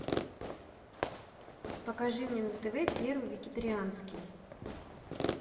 покажи мне на тв первый вегетарианский